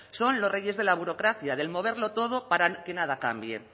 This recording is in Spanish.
son los reyes de la burocracia del moverlo todo para que nada cambie